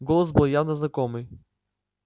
голос был явно знакомый